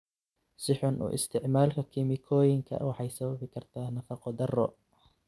Si xun u isticmaalka kiimikooyinka waxay sababi kartaa nafaqo darro.